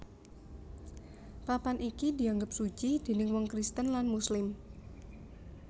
Papan iki dianggep suci déning wong Kristen lan Muslim